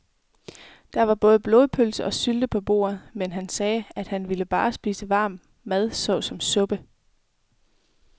Der var både blodpølse og sylte på bordet, men han sagde, at han bare ville spise varm mad såsom suppe.